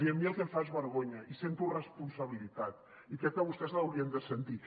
i a mi el que em fa és vergonya i sento responsabilitat i crec que vostès l’haurien de sentir